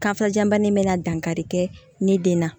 Kanfajabana bɛ na dankari kɛ ni den na